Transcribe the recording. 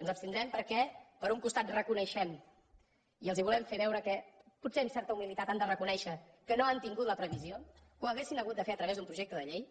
ens abstindrem perquè per un costat reconeixem i els volem fer veure que potser amb certa humilitat han de reconèixer que no han tingut la previsió que ho haurien hagut de fer a través d’un projecte de llei